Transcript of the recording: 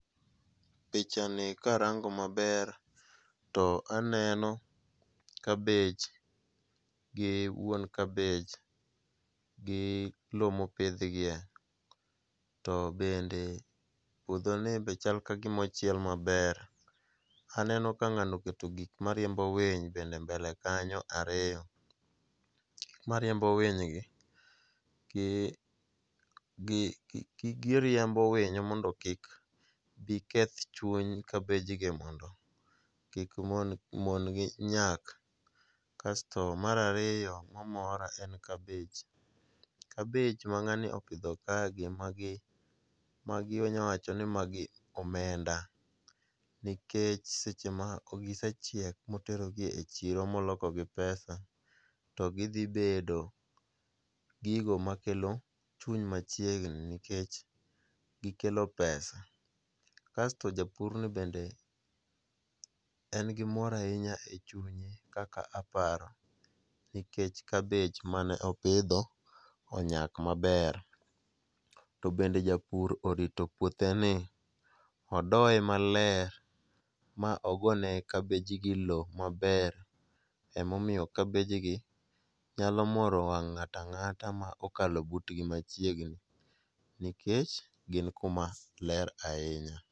Pichani karango maber to aneno kabej gi wuon kabej gi lowo mopidhgie, to bende puodhoni be chal ka gima ochiel maber. Aneno ka ng'ano oketo gik mariembo winj bende e mbele kanyo ariyo, gik mariembo winjgi giriembo winyo mondo kik bi keth chuny kabejgi mondo mon gi nyak, kasto mar ariyo, omora ka en kabej, kabej ma ng'ani opidho kagi magi onya wacho ni magi omenda nikech seche ma gisechiek moterogi e chiro molokogi pesa to gidhi bedo gigo makelo chuny machiegni nikech gikelo pesa kasto japurni bende en gi mor ahinya e chunye kaka aparo nikech kabej mane opidho onyak maber. To bende japur orito puotheni ,odoye maler, ogone kabejgi lowo maber ,emomiyo kabejgi nyalo moro wang' ng'ato ang'ata ma okalo butgi machiegni nikech gin kuma ler ahinya.